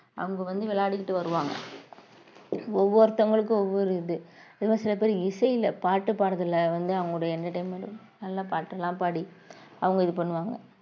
அவங்க வந்து விளையாடிக்கிட்டு வருவாங்க ஒவ்வொருத்தவங்களுக்கும் ஒவ்வொரு இது இன்னும் சில பேர் இசையில பாட்டு பாடுறதில வந்து அவங்களுடைய entertainment நல்ல பாட்டெல்லாம் பாடி அவங்க இது பண்ணுவாங்க